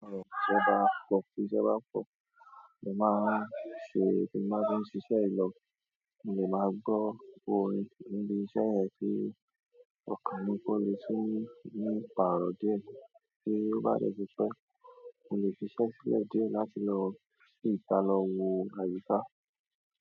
Àárọ̀ tí ṣẹ́ ba fọ, tí ṣẹ́ ba fọ, mo máa ń ṣe, mo máa fi ń ṣiṣẹ́ ìlọ, mo lè máa gbọ́ orin níbi iṣẹ́ ẹ ti ọkà mí kó le sí ní pàrọ̀ dé tí ó bá rẹ̀ ṣiṣẹ́, mo lè fi iṣẹ́ sílẹ̀ dé láti lọ síta lọ wo àyíká.